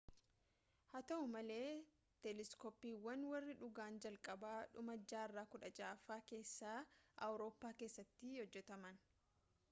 haa ta'u malee teeleskooppiiwwan warri dhugaan jalqabaa dhuma jaarraa 16ffaa keessa awurooppaa keessatti hojjetaman